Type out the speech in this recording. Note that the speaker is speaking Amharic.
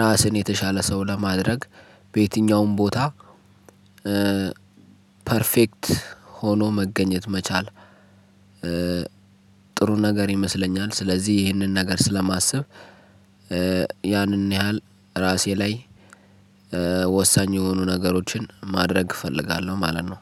ራስን የተሻለ ሰው ለማድረግ በየትኛውም ቦታ ፐርፌክት ሆኖ መገኘት መቻል ጥሩ ነገር ይመስለኛል። ስለዚህ ይህንን ነገር ስለማስብ ያንን ያህል ራሴ ላይ ወሳኝ የሆኑ ነገሮችን ማድረግ እፈልጋለሁ ማለት ነው።